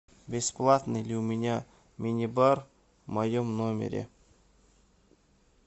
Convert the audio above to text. бесплатный ли у меня мини бар в моем номере